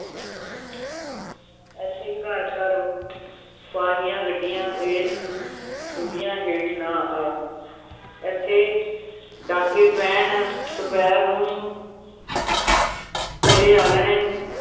ਏਥੇ ਘਰ ਘਰ ਫਾਹੀਆਂ ਗੱਡੀਆਂ ਤੇ ਤੂੰ ਛੁਰੀਆਂ ਹੇਠ ਨਾ ਆ ਏਥੇ ਡਾਕੇ ਪੈਣ ਦੁਪਹਿਰ ਨੂੰ ਤੇਰੇ ਆਲ੍ਹਣੇ